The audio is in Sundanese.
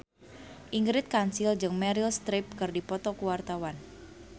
Ingrid Kansil jeung Meryl Streep keur dipoto ku wartawan